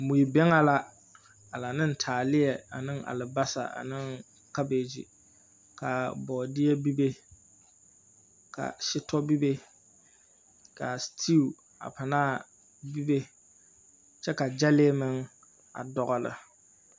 Mui-bɛŋɛ la, a la neŋ taaleɛ aneŋ alabasa aneŋ kabeegyi. Ka bɔɔdeɛ bibe, ka setɔ bibe, ka a setiiu a panaa bibe, kyɛ ka gyɛlee meŋ, a dɔgele.